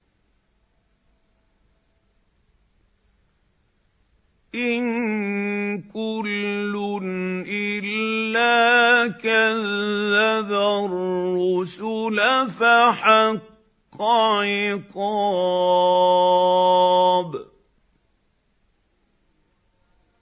إِن كُلٌّ إِلَّا كَذَّبَ الرُّسُلَ فَحَقَّ عِقَابِ